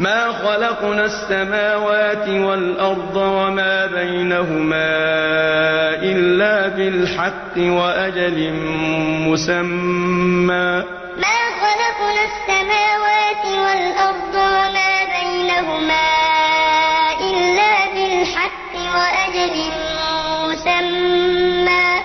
مَا خَلَقْنَا السَّمَاوَاتِ وَالْأَرْضَ وَمَا بَيْنَهُمَا إِلَّا بِالْحَقِّ وَأَجَلٍ مُّسَمًّى ۚ وَالَّذِينَ كَفَرُوا عَمَّا أُنذِرُوا مُعْرِضُونَ مَا خَلَقْنَا السَّمَاوَاتِ وَالْأَرْضَ وَمَا بَيْنَهُمَا إِلَّا بِالْحَقِّ وَأَجَلٍ مُّسَمًّى ۚ